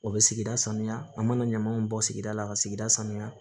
O bɛ sigida sanuya an mana ɲaman min bɔ sigida la ka sigida sanuya